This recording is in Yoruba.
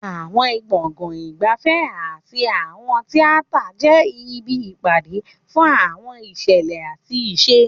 Àwọn gbọ̀ngàn ìgbafẹ́ àti àwọn tíátà jẹ́ ibi ìpàdé fún àwọn ìṣẹ̀lẹ̀ àti ìṣe.